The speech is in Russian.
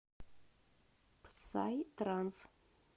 псай транс